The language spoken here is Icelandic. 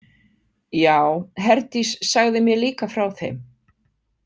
Já, Herdís sagði mér líka frá þeim.